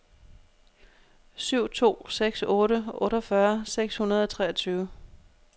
syv to seks otte otteogfyrre seks hundrede og treogtyve